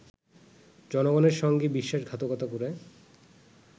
জনগণের সঙ্গে বিশ্বাসঘাতকতা করে